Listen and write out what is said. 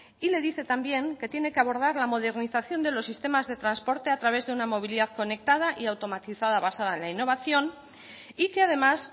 y le dice también que tiene que abordar la modernización de los sistemas de transporte a través de una movilidad conectada y automatizada basada en la innovación y que además